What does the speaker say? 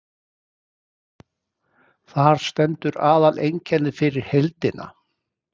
Þar stendur aðaleinkennið fyrir heildina.